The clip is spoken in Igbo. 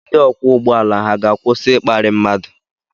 Ndị ọkwọ ụgbọ ala ha ga-akwụsị ịkparị mmadụ?